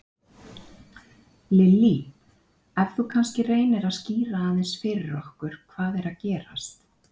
Lillý: Ef þú kannski reynir að skýra aðeins fyrir okkur hvað er að gerast?